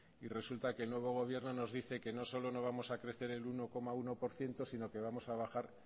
y resulta que el nuevo gobierno nos dice que no solo no vamos a crecer el uno coma uno por ciento sino que vamos a bajar